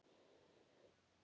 Um margt var að ræða.